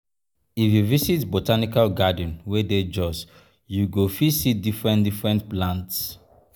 if you visit botanical garden wey dey jos you go fit see different-different plants.